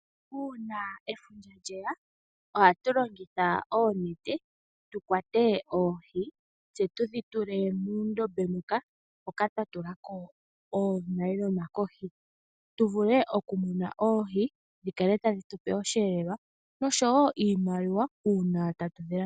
Uuna efundja lye ya ohatu longitha oonete tu kwate oohi tse tu dhi tule muundombe muka, hoka twa tula ko oonayilona kohi tu vule okumuna oohi dhi kale tadhi tu pe osheelelwa noshowo iimaliwa uuna tatu dhi landitha.